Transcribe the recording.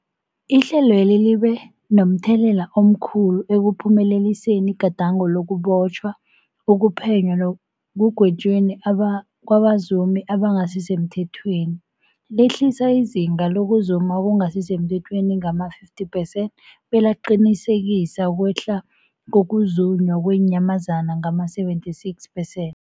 Ihlelweli libe momthelela omkhulu ekuphumeleliseni igadango lokubotjhwa, ukuphenywa nekugwetjweni kwabazumi abangasisemthethweni, lehlisa izinga lokuzuma okungasi semthethweni ngama-50 percent, belaqinisekisa ukwehla kokuzunywa kweenyamazana ngama-76 percent.